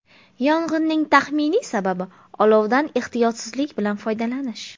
Yong‘inning taxminiy sababi olovdan ehtiyotsizlik bilan foydalanish.